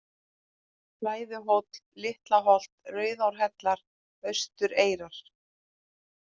Flæðuhóll, Litla-Holt, Rauðárhellar, Austureyrar